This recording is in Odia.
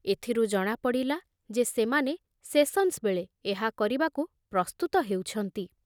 ଏଥିରୁ ଜଣାପଡ଼ିଲା ଯେ ସେମାନେ ସେସନ୍ସ ବେଳେ ଏହା କରିବାକୁ ପ୍ରସ୍ତୁତ ହେଉଛନ୍ତି।